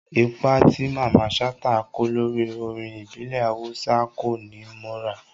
Ipa tí Mamman Shata kó lórí orin ìbílẹ̀ Awúsá ń kó'ni mọ́ra